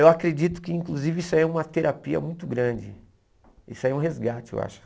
Eu acredito que inclusive isso é uma terapia muito grande, isso é um resgate, eu acho.